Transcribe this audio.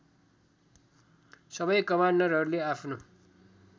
सबै कमान्डरहरूले आफ्नो